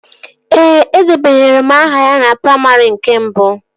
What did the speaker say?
Ee, edebanyere m aha ya na praimarị nke abụọ